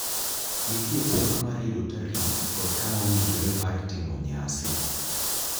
Nitie pek mar yudo tarik kod kama owinjore mar timo nyasi.